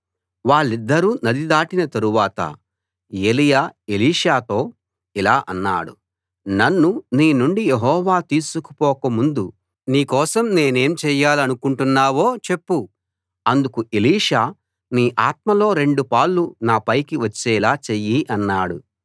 వాళ్ళిద్దరూ నది దాటిన తరువాత ఏలీయా ఎలీషాతో ఇలా అన్నాడు నన్ను నీనుండి యెహోవా తీసుకుపోక ముందు నీ కోసం నేనేం చేయాలనుకుంటున్నావో చెప్పు అందుకు ఎలీషా నీ ఆత్మలో రెండు పాళ్ళు నా పైకి వచ్చేలా చెయ్యి అన్నాడు